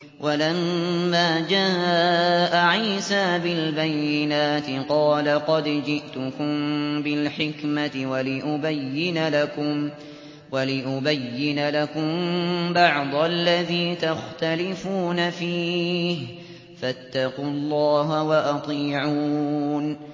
وَلَمَّا جَاءَ عِيسَىٰ بِالْبَيِّنَاتِ قَالَ قَدْ جِئْتُكُم بِالْحِكْمَةِ وَلِأُبَيِّنَ لَكُم بَعْضَ الَّذِي تَخْتَلِفُونَ فِيهِ ۖ فَاتَّقُوا اللَّهَ وَأَطِيعُونِ